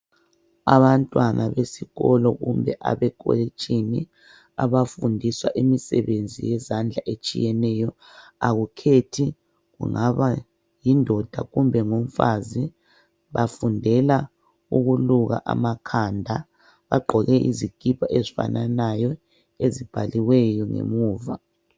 Abantwana besikolo kumbe abekolitshini, abafundiswa imisebenzi yezandla etshiyeneyo. Akukhethi kungaba yindoda kumbe ngumfazi. bafundela ukuluka amakhanda. Bagqoke izikipa ezifananayo ezibhaliweyo ngemuva.